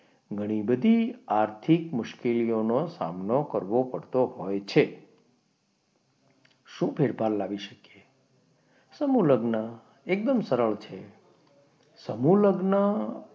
ઘણી બધી આર્થિક મુશ્કેલીઓનો સામનો કરવો પડતો હોય છે શું ફેરફાર લાવી શકીએ સમૂહ લગ્ન એકદમ સરળ છે સમૂહ લગ્ન.